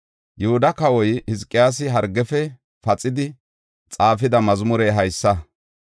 Yihuda kawoy Hizqiyaasi hargiyafe paxidi xaafida mazmurey haysa: